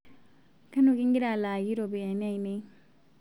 Kanu kingira alaaki ropiyiani aanei